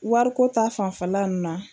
Wariko ta fanfɛla nunnu na.